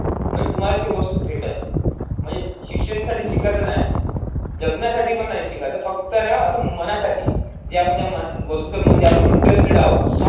मग तुम्हाला ती वस्तु भेटेन म्हणजे शिक्षणसाठी शिकायचं नाही, जगण्यासाठी पण नाही शिकायचं, फक्त ना असं मनासाठी जे आपण जे म अं वस्तुसंबंधी आपण interested आहोत.